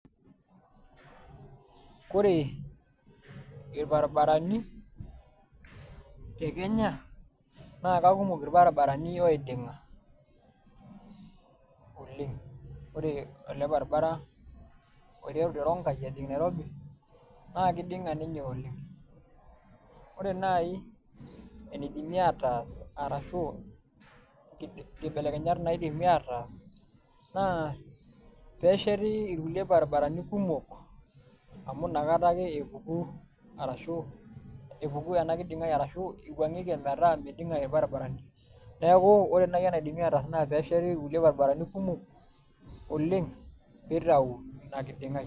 Koree, ilbarabarani te Kenya naake kumok ilbarabarani oiding'a oleng'. Ore ele barabara oiteru te ronkai ejing' Nairobi naakeiding'a ninye oleng'. Ore nai eneidimi ataas arashu nkibelekenyat naidimi ataas naa peesheti ilkulie barabarani kumok amu nakata ake epuku arashu, epuku ena kiding'ai arashu eiwuang'eki emetaa meiding'a ilbaribarani. Neaku ore nai enaidimi ataas naa peesheti ilkulie barabarani kumok oleng' peitau ina kiding'ai.